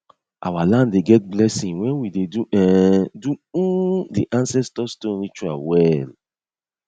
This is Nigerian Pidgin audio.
our land dey get blessing when we dey um do um di ancestor stone ritual well